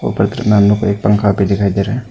ऊपर के तरफ में हम लोग को एक पंखा भी दिखाई दे रहा है।